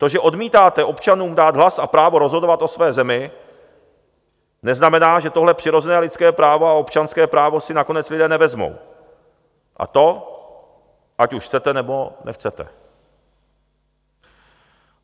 To, že odmítáte občanům dát hlas a právo rozhodovat o své zemi, neznamená, že tohle přirozené lidské právo a občanské právo si nakonec lidé nevezmou, a to ať už chcete, nebo nechcete.